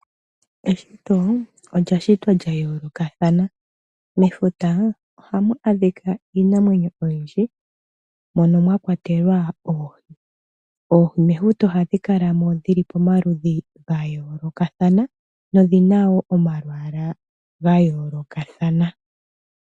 Eshito olya shitwa lya yoolokathana. Mefuta ohamu adhika iinamwenyo oyindji mono mwa kwatelwa oohi. Oohi mefuta ohadhi kala mo dhi li pamaludhi ga yoolokathana nodhi na wo omalwaala ga yoolokathana.